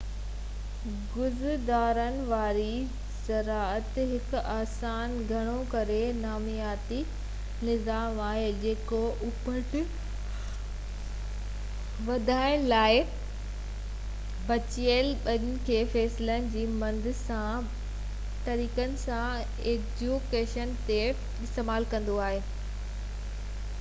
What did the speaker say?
گذران واري زراعت هڪ آسان گهڻو ڪري نامياتي نظام آهي جيڪو اُپت وڌائڻ لاءِ بچيل ٻج کي فصلن جي مند سان يا ٻين لاڳاپيل طريقن سان ايڪو ريجن تي استعمال ڪندو آهي